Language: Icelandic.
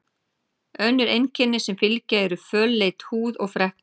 Önnur einkenni sem fylgja eru fölleit húð og freknur.